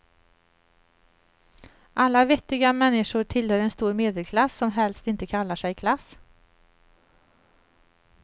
Alla vettiga människor tillhör en stor medelklass, som helst inte kallar sig klass.